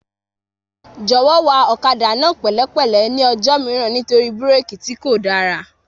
Jọ̀wọ́ wa ọ̀kadà náà pẹ̀lẹ́ pẹ̀lẹ́ ní ọjọ́ mìíràn nítorí búrékì tí kò dára